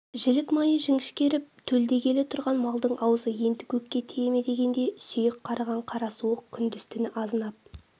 жілік майы жіңішкеріп төлдегелі тұрған малдың аузы енді көкке тие ме дегенде сүйек қарыған қара суық күндіз-түні азынап